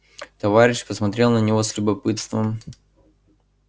товарищ посмотрел на него с любопытством